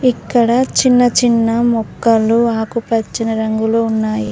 ఇక్కడ చిన్న చిన్న మొక్కలు ఆకుపచ్చ రంగులో ఉన్నాయి.